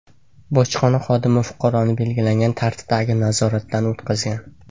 Bojxona xodimi fuqaroni belgilangan tartibdagi nazoratdan o‘tqazgan.